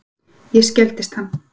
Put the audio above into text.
Ég skelfdist hann.